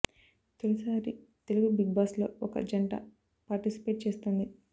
తొలిసారి Telugu Bigg Boss లో ఒక జంట పార్టిసిపేట్ చేస్తోంది